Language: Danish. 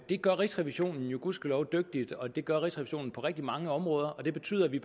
det gør rigsrevisionen jo gudskelov dygtigt og det gør rigsrevisionen på rigtig mange områder og det betyder at vi